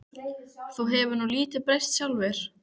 Þú hefur nú lítið breyst sjálfur.